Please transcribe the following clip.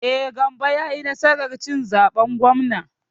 E, Gambo ya yi nasar cin zaben gwamnan.